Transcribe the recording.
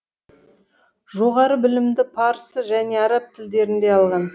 жоғары білімді парсы және араб тілдерінде алған